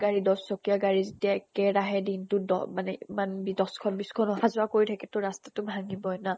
গাড়ী দশ চকীয়া গাড়ী যেতিয়া একে ৰাহে দিনটো দহ মানে ইমান দ্শ্খন বিছ্খনো অহা যোৱা কৰি থাকে ত ৰাস্তাটো ভাঙ্গিবই ন?